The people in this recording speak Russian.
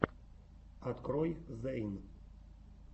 открой зэйн